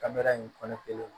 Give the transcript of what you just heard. Kamera in kɔnɔ kelen